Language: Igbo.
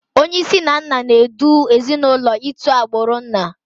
Onyeisi na nna n'edu ezinụlọ itu agbụrụ nna